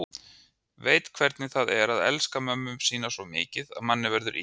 Veit hvernig það er að elska mömmu sína svo mikið að manni verður illt.